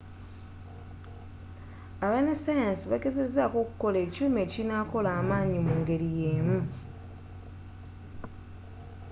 abanasayansi bagezzako okukola ekyuma ekinakola amanayi mu ngeri y'emu